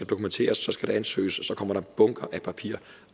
dokumenteres og så skal der ansøges og så kommer der er bunker af papir